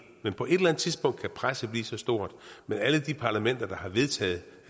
men på et eller andet tidspunkt kan presset blive så stort med alle de parlamenter der har vedtaget